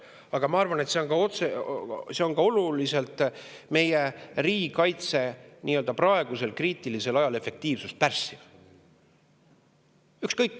Aga ma arvan, et see on ka oluliselt meie riigikaitse jaoks nii-öelda praegusel kriitilisel ajal efektiivsust pärssiv.